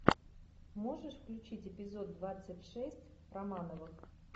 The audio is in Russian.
можешь включить эпизод двадцать шесть романовых